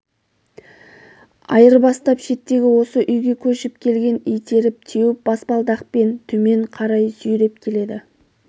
айырбастап шеттегі осы үйге көшіп келген итеріп теуіп баспалдақпен төмен қарай сүйреп келеді